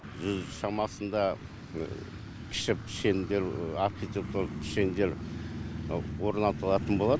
жүз шамасында кіші пішендер архитектуралық пішендер орнатылатын болады